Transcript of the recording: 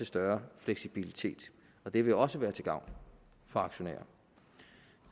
større fleksibilitet og det vil også være til gavn for aktionærer